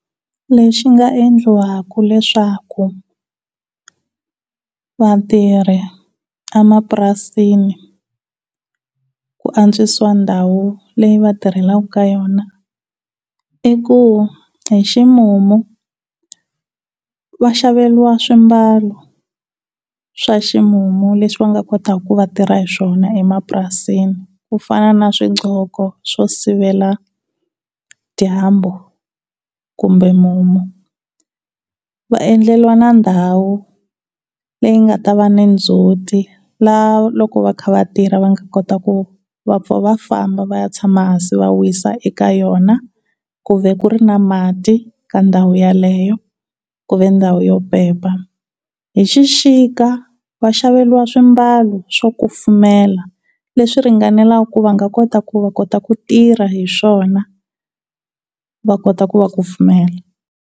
Leswi nga endliwaka leswaku vatirhi emapurasini ku antswisiwa ndhawu leyi va tirhelaka ka yona i ku hi ximumu va xaveriwa swimbalo swa ximumu leswi va nga kotaka ku va tirha hi swona emapurasini ku fana na swi gqoko swo sivela dyambu kumbe mumu, va endleriwa na ndhawu leyi nga ta va ni ndzhuti laha loko va kha va tirha va nga kota ku va pfa va famba va ya tshama hansi va wisa eka yona ku va ku ri na mati ka ndhawu yaleyo ku va ndhawu yo pepa. Hi xixika va xaveriwa swimbalo swo kufumela leswi ringanelaka ku va nga kota ku va kota ku tirha hi swona va kota ku va kufumela.